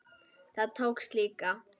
Það tókst líka.